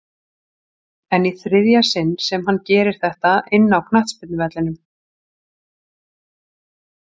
En í þriðja sinn sem hann gerir þetta inná knattspyrnuvellinum?